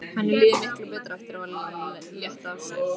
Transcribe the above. Henni líður miklu betur eftir að hafa létt á sér.